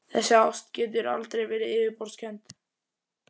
Þessi ást getur aldrei verið yfirborðskennd.